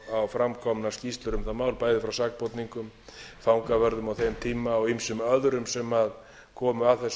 á framkomnar skýrslur um það mál bæði frá sakborningum fangavörðum á þeim tíma og ýmsum öðrum sem komu að þessum